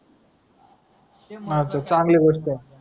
चांगली गोष्ट आहे.